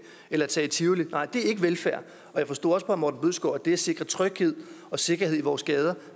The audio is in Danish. eller tage i tivoli nej det er ikke velfærd jeg forstod også på herre morten bødskov at det at sikre tryghed og sikkerhed i vores gader